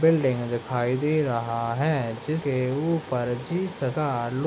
building दिखाई दे रहा है जिसके ऊपर हजार लोग --